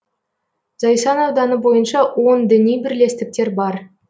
зайсан ауданы бойынша он діни бірлестіктер бар